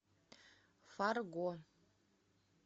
фарго